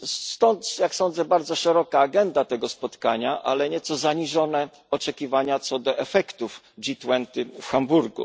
Stąd, jak sądzę, bardzo szeroka agenda tego spotkania, ale nieco zaniżone oczekiwania, co do efektów G 20 w Hamburgu.